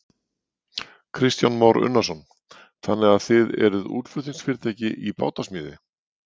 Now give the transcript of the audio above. Kristján Már Unnarsson: Þannig að þið eruð útflutningsfyrirtæki í bátasmíði?